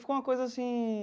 Ficou uma coisa assim...